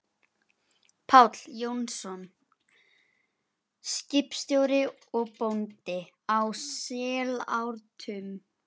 Páll Jónsson, skipstjóri og bóndi, á Sellátrum.